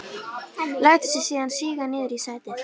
Lætur sig síðan síga niður í sætið.